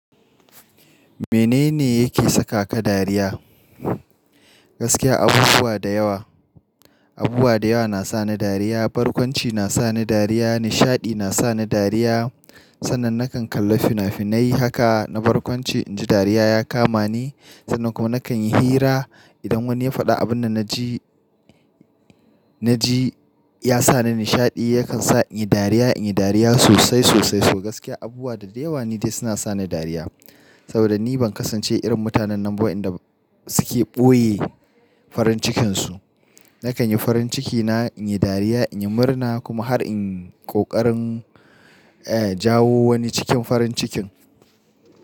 Menene yake sakaka dariya? Gaskiya abubuwa da yawa. Abu buwa da yawa na sa ni dariya. Barkwanci na sa ni dariya, nishaɗi na sa ni dariya, sannan nakan kalla fina-finai haka na barkwanci inji dariya ya kamani sannan kuma nakan yi hira. Idan wani ya faɗa abin da na ji, na ji ya sa ni nishaɗi yakan sa in yi dariya, in yi dariya sosai, sosai. So gaskiya abubuwa da de yawa ne dai suna sa ni dariya. Saboda ni ban kasance irin mutanan nan ba wayanda suke ɓoye farin cikin su. Nakan yi farin ciki na, in yi dariya, in yi murna kuma har in ƙoƙarin, eh, jawo wani cikin farin ciki.